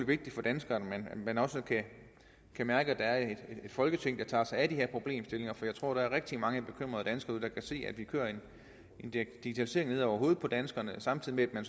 vigtigt for danskerne at man også kan mærke at der et folketing der tager sig af de her problemstillinger for jeg tror der er rigtig mange bekymrede danskere derude der kan se at vi kører en digitalisering ned over hovedet på danskerne samtidig med